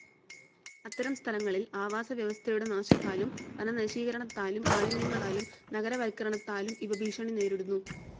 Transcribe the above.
അത്തരം സ്ഥലങ്ങളിൽ ആവാസവ്യവസ്ഥയുടെ നാശത്താലും വനനശീകരണാത്താലും മാലിന്യങ്ങളാലും നഗരവൽക്കരണത്താലും ഇവ ഭീഷണി നേരിടുന്നു.